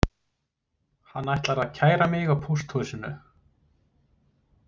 Hann ætlar að kæra mig á pósthúsinu